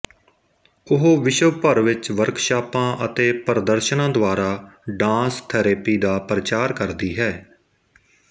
ਉਹ ਵਿਸ਼ਵ ਭਰ ਵਿੱਚ ਵਰਕਸ਼ਾਪਾਂ ਅਤੇ ਪ੍ਰਦਰਸ਼ਨਾਂ ਦੁਆਰਾ ਡਾਂਸ ਥੈਰੇਪੀ ਦਾ ਪ੍ਰਚਾਰ ਕਰਦੀ ਹੈ